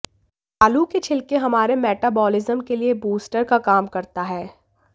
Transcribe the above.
आलू के छिलके हमारे मेटाबॉलिज्म के लिए बूस्टर का काम करता है